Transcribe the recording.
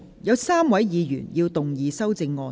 有3位議員要動議修正案。